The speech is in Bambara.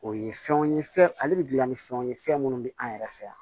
O ye fɛnw ye fɛn ale bɛ dilan ni fɛnw ye fɛn minnu bɛ an yɛrɛ fɛ yan